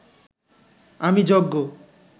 আমি যজ্ঞ